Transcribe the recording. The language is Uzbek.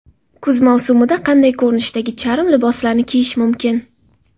Kuz mavsumida qanday ko‘rinishdagi charm liboslarni kiyish mumkin?